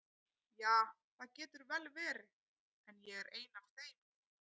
Ja, það getur vel verið, en ég er ein af þeim núna.